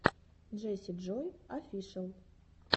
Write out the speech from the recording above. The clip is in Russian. джесси джой офишел